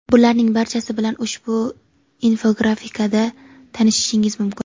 Bularning barchasi bilan ushbu infografikada tanishishingiz mumkin.